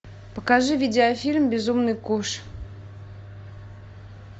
покажи видеофильм безумный куш